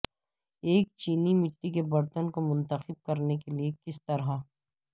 ایک چینی مٹی کے برتن کو منتخب کرنے کے لئے کس طرح